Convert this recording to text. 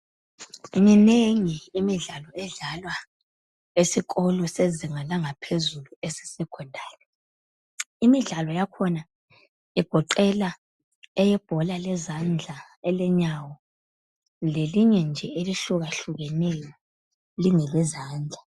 Minengi imidlalo edlalwa esikolo sezinga Langaphezulu esesecondary imidlalo yakhona igoqela eyebhola lezandla elenyawo lelinye nje elehlukahlukeneyo Lingelezandla